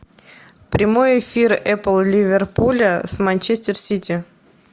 прямой эфир апл ливерпуля с манчестер сити